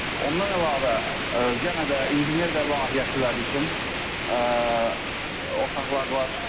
Ondan əlavə, yenə də mühəndis və layihəçiləri üçün otaqlar var.